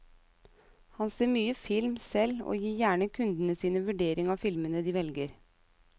Han ser mye film selv og gir gjerne kundene sin vurdering av filmene de velger.